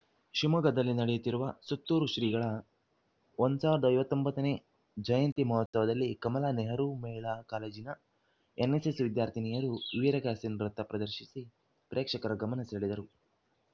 ಶಿವಮೊಗ್ಗದಲ್ಲಿ ನಡೆಯುತ್ತಿರುವ ಸುತ್ತೂರು ಶ್ರೀಗಳ ಒಂದು ಸಾವಿರದ ಐವತ್ತ್ ಒಂಬತ್ತ ನೇ ಜಯಂತಿ ಮಹೋತ್ಸವದಲ್ಲಿ ಕಮಲಾ ನೆಹರು ಮಹಿಳಾ ಕಾಲೇಜಿನ ಎನ್‌ಎಸ್‌ಎಸ್‌ ವಿದ್ಯಾರ್ಥಿನಿಯರು ವೀರಗಾಸೆ ನೃತ ಪ್ರದರ್ಶಿಸಿ ಪ್ರೇಕ್ಷಕರ ಗಮನ ಸೆಳೆದರು